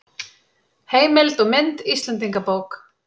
Heimild og mynd Íslendingabók.